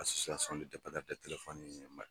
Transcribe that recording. ni ye ma.